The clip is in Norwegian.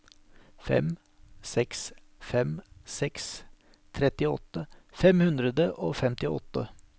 fem seks fem seks trettiåtte fem hundre og femtiåtte